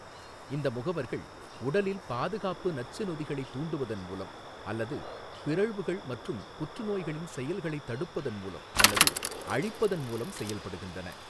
இந்த முகவர்கள் உடலில் பாதுகாப்பு நச்சு நொதிகளைத் தூண்டுவதன் மூலம் அல்லது பிறழ்வுகள் மற்றும் புற்றுநோய்களின் செயல்களைத் தடுப்பதன் மூலம் அல்லது அழிப்பதன் மூலம் செயல்படுகின்றன.